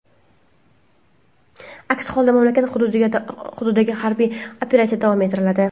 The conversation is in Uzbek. Aks holda, mamlakat hududidagi harbiy operatsiya davom ettiriladi.